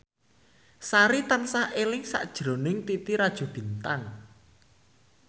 Sari tansah eling sakjroning Titi Rajo Bintang